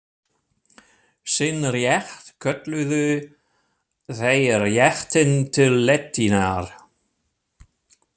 Sinn rétt kölluðu þeir réttinn til letinnar.